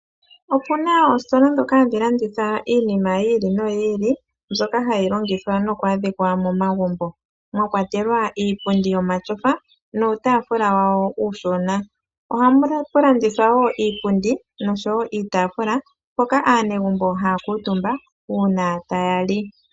Opena oositola dhoka hadhi landitha iinima yi ili no yi ili ndyoka hayi longithwa nokwaadhika momagumbo mwakwatelwa iipundi yomatyofa nuutaafula wawo uushona. Ohamu landithwa iipundi noshowo iitaafula mpoka aanegumbo haya kuutumba uuna taya li.